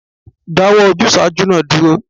Dáwọ́ ojúsàájú náà dúró